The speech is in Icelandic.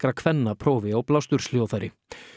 kvenna prófi á blásturshljóðfæri